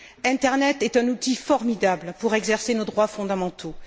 L'internet est un outil formidable pour exercer ses droits fondamentaux.